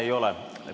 Ei ole.